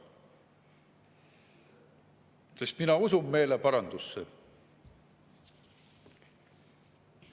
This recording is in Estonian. Sest mina usun meeleparandusse.